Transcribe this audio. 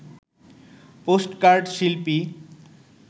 postcard শিল্পী